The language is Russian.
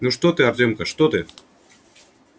ну что ты артёмка что ты